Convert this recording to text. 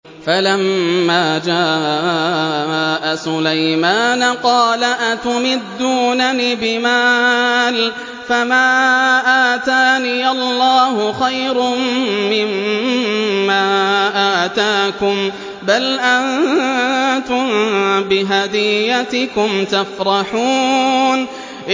فَلَمَّا جَاءَ سُلَيْمَانَ قَالَ أَتُمِدُّونَنِ بِمَالٍ فَمَا آتَانِيَ اللَّهُ خَيْرٌ مِّمَّا آتَاكُم بَلْ أَنتُم بِهَدِيَّتِكُمْ تَفْرَحُونَ